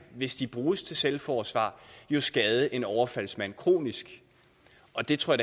hvis de bruges til selvforsvar skade en overfaldsmand kronisk og det tror